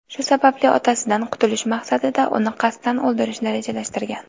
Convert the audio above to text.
Shu sababli otasidan qutulish maqsadida uni qasddan o‘ldirishni rejalashtirgan.